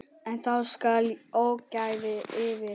En þá skall ógæfan yfir.